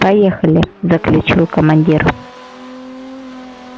поехали заключил командир